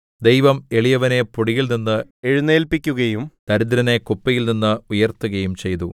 ദൈവം എളിയവനെ പൊടിയിൽനിന്ന് എഴുന്നേല്പിക്കുകയും ദരിദ്രനെ കുപ്പയിൽനിന്ന് ഉയർത്തുകയും ചെയ്തു